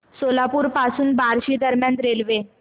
सोलापूर पासून बार्शी दरम्यान रेल्वे